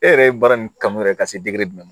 E yɛrɛ ye baara in kanu yɛrɛ ka se jumɛn ma